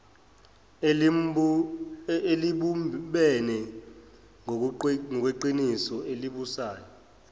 elibumbene ngokweqiniso elibuswa